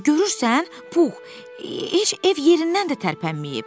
Görürsən, Pux, heç ev yerindən də tərpənməyib.